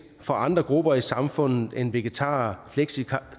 for andre grupper i samfundet end vegetarer fleksitarer